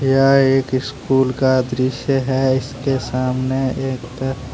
यह एक स्कूल का दृश्य है इसके सामने एक ।